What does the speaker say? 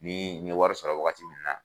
Ni ye wari sɔrɔ waagati min na.